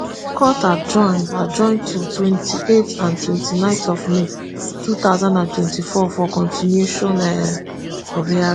court adjourn adjourn to twenty-eight and twenty-nine of may two thousand and twenty-four for continuation um of hearing.